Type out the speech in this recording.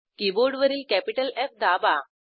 कीबोर्डवरील कॅपिटलF दाबा